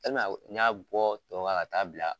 n y'a bɔ tɔ kan k'a taa bila.